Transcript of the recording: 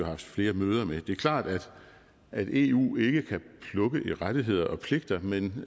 haft flere møder med det er klart at eu ikke kan plukke i rettigheder og pligter men